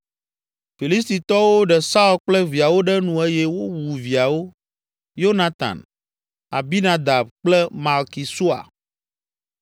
Filistitɔwo ɖe Saul kple viawo ɖe nu eye wowu viawo; Yonatan, Abinadab kple Malki Sua.